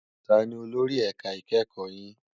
Tàní ólóri èká ikèékò yin?